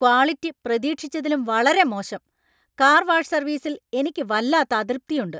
Quality പ്രതീക്ഷിച്ചതിലും വളരെ മോശം. കാർ വാഷ് സർവീസിൽ എനിക്ക് വല്ലാത്ത അതൃപ്തിയുണ്ട്.